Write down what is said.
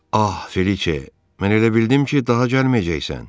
Ah, Feliçe, mən elə bildim ki, daha gəlməyəcəksən.